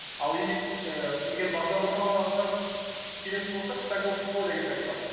ал ііі егер бағдарламаға келетін болсақ стаковфо деген сайт бар